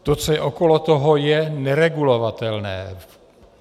To, co je okolo toho, je neregulovatelné.